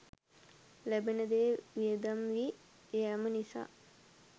ලැබෙන දෙය වියදම් වී යෑම නිසා